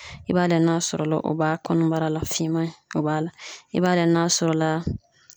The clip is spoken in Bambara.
I b'a layɛ n'a sɔrɔla o b'a kɔnɔbara, la finman in, o b'a la. I b'a layɛ n'a sɔrɔla